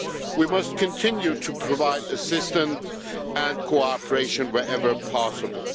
We must continue to provide assistance and cooperation wherever possible.